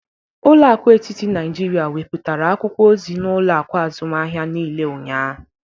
Ụlọ akụ etiti Naịjirịa wepụtara akwụkwọ ozi n'ụlọakụ azụmahịa niile ụnyahụ